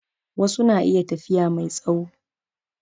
Wasu na iya tafiya mai tsawo